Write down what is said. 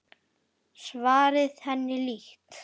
Svarið henni líkt.